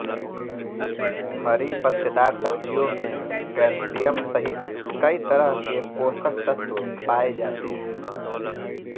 हरी पत्तेदार सब्जियों में कैल्शियम सहित कई तरह के पोषक तत्व पाए जाते हैं